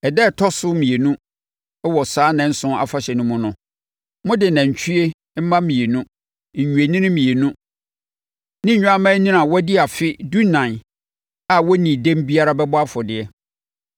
“ ‘Ɛda a ɛtɔ so mmienu wɔ saa nnanson afahyɛ no mu no, mode anantwie mma dumienu, nnwennini mmienu ne nnwammaanini a wɔadi afe dunan a wɔnnii dɛm biara bɛbɔ afɔdeɛ.